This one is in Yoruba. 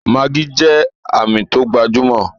Maggi jẹ́ Àmì tó gbajúmọ̀